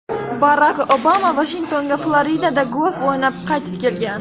Barak Obama Vashingtonga Floridada golf o‘ynab, qaytib kelgan.